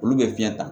Olu bɛ fiɲɛ ta